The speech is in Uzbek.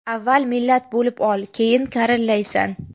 Avval millat bo‘lib ol, keyin karillaysan.